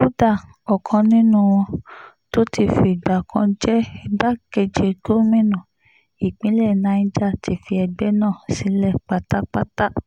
kódà ọ̀kan nínú wọn tó ti fìgbà kan jẹ́ igbákejì gómìnà ìpínlẹ̀ niger ti fi ẹgbẹ́ náà sílẹ̀ pátápátá